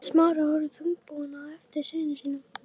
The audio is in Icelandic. Smári horfði þungbúinn á eftir syni sínum.